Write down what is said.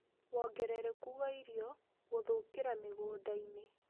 Wongerereku wa irio gũthũkira mĩgũnda-inĩ